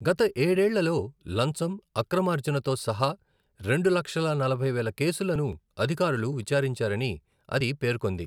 గత ఏడేళ్లలో లంచం, అక్రమార్జనతో సహా రెండు లక్షల నలభై వేల కేసులను అధికారులు విచారించారని అది పేర్కొంది.